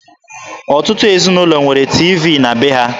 Ọtụtụ ezinụlọ nwere tiivii na be ha.